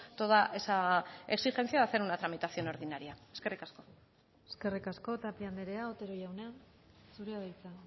toda esa exigencia de hacer una tramitación ordinaria eskerrik asko eskerrik asko tapia andrea otero jauna zurea da hitza